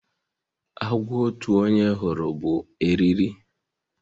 Agwo otu onye hụrụ bụ eriri